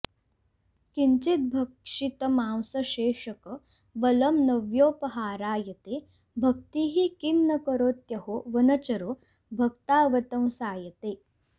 किञ्चिद्भक्षितमांसशेषकबलं नव्योपहारायते भक्तिः किं न करोत्यहो वनचरो भक्तावतंसायते